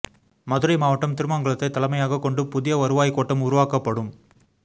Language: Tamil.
மதுரை மாவட்டம் திருமங்கலத்தை தலைமையாக கொண்டு புதிய வருவாய் கோட்டம் உருவாக்கப்படும்